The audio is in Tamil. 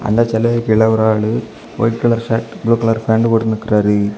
அந்த சிலைக்கு கீழே ஒரு ஆளு white colour shirt blue colour pant போட்டு நிக்கிறாரு.